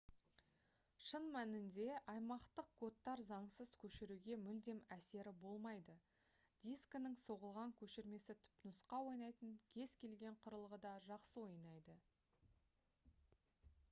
шын мәнінде аймақтық кодтар заңсыз көшіруге мүлдем әсері болмайды дискінің соғылған көшірмесі түпнұсқа ойнайтын кез-келген құрылғыда жақсы ойнайды